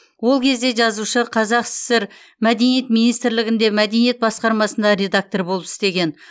ол кезде жазушы қазсср мәдениет министрлігінде мәдениет басқармасында редактор болып істеген